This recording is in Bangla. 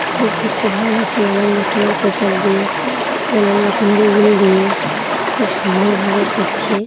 বেশ দেখতে ভালো লাগছে নানান রকমের পেপার দিয়ে নানান রকমের উল দিয়ে খুব সুন্দর ভাবে করছে।